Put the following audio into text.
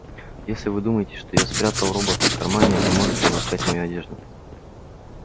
если вы думаете что я спрятал робота в кармане вы можете обыскать мою одежду